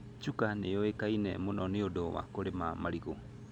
Chuka nĩ yũĩkaine mũno nĩ ũndũ wa kũrĩma marigũ.